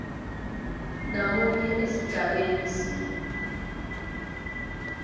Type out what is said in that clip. namunye esigabeni c